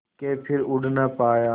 के फिर उड़ ना पाया